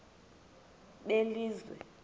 belizwe